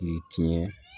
I ye tiɲɛ